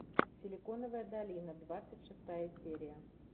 силиконовая долина двадцать шестая серия